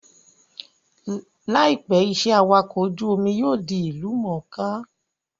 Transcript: Láìpẹ́, iṣẹ́ awakọ̀ ojú-omi yóò di ìlú mọ̀ọ́ká